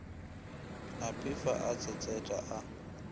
a phefa a tshetshetha a